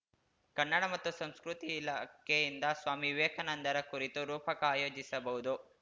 ಕನ್ನಡ ಮತ್ತು ಸಂಸ್ಕೃತಿ ಇಲಾಖೆಯಿಂದ ಸ್ವಾಮಿ ವಿವೇಕಾನಂದರ ಕುರಿತು ರೂಪಕ ಆಯೋಜಿಸಬಹುದು